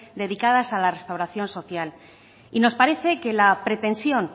dedicadas a la restauración social y nos parece que la pretensión